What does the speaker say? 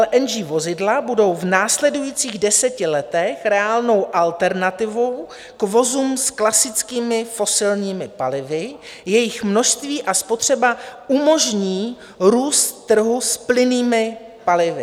LNG vozidla budou v následujících deseti letech reálnou alternativou k vozům s klasickými fosilními palivy, jejichž množství a spotřeba umožní růst trhu s plynnými palivy.